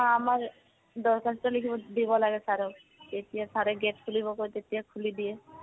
আমাৰ দৰ্খাস্ত লিখিব দিব লাগে sir ক। তেতিয়া sir এ gate খুলিব কয়, তেতিয়া খুলি দিয়ে।